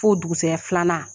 F'o dugusɛya filanan